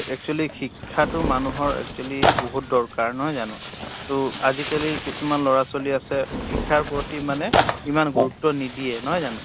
উ actually শিক্ষা তো মানুহৰ actually বহুত দৰ্কাৰ নহয় জানো? তʼ আজি কালি কিছুমান লʼৰা ছোৱালী আছে শিক্ষাৰ প্ৰতি মানে ইমান গুৰুত্ব নিদিয়ে, নহয় জানো?